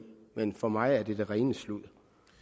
men for mig er det det rene sludder